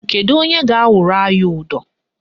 Kedu onye ga-awụrụ anyị ụdọ?